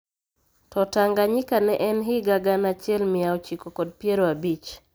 To Tanganyka ne en higa gana achiel mia ochiko kod piero abich